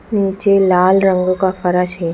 नीचे लाल रंग का फर्श है।